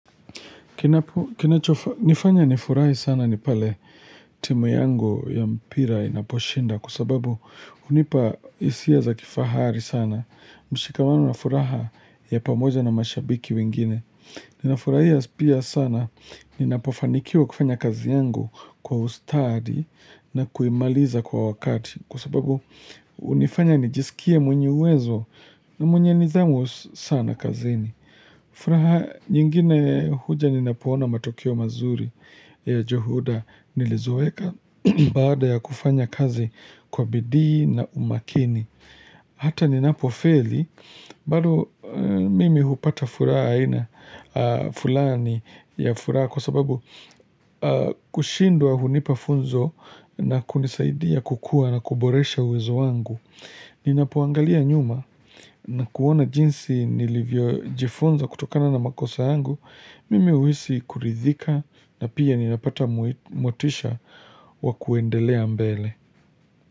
Kinacho nifanya nifurahi sana ni pale timu yangu ya mpira inaposhinda, kwa sababu hunipa hisia za kifahari sana, mshikamano na furaha ya pamoja na mashabiki wengine. Ninafurahia pia sana, ninapofanikiwa kufanya kazi yangu kwa ustadi na kuimaliza kwa wakati kwa sababu hunifanya nijisikie mwenye uwezo na mwenye nidhamu sana kazini. Furaha, nyingine huja ninapoona matokeo mazuri ya juhuda nilizoeka baada ya kufanya kazi kwa bidii na umakini. Hata ninapofeli, bado mimi hupata furaha aina, fulani ya furaha kwa sababu kushindwa hunipa funzo na kunisaidia kukua na kuboresha uwezo wangu. Ninapoangalia nyuma na kuona jinsi nilivyojifunza kutokana na makosa yangu Mimi huhisi kuridhika na pia ninapata motisha wa kuendelea mbele.